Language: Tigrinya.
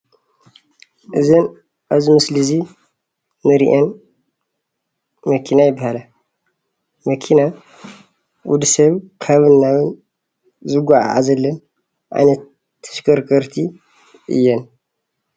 እዘን ኣብዚ ምስሊ እዙይ እንሪአን መኪና ይበሃላ። መኪና ወድሰብ ካብን ናብን ዝጎዓዘለን ዓይነት ተሽከርከርቲ እየን።